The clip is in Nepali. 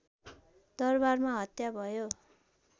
दरवारमा हत्या भयो